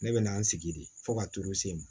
Ne bɛ na n sigi de fo ka turu se n ma